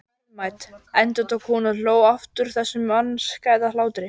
Verðmæt, endurtók hún og hló aftur þessum mannskæða hlátri.